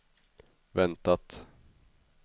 väntat